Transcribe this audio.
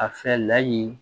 A fɛ layi